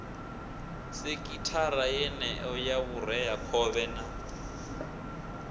sekhithara yeneyo ya vhureakhovhe na